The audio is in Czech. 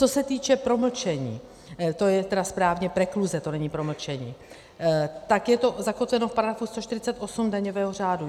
Co se týče promlčení, to je tedy správně prekluze, to není promlčení, tak je to zakotveno v § 148 daňového řádu.